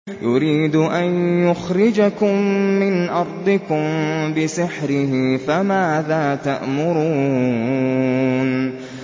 يُرِيدُ أَن يُخْرِجَكُم مِّنْ أَرْضِكُم بِسِحْرِهِ فَمَاذَا تَأْمُرُونَ